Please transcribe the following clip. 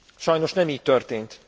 Sajnos nem így történt.